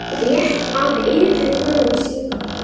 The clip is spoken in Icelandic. Réttað yrði yfir honum síðar.